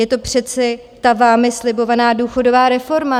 Je to přece ta vámi slibovaná důchodová reforma.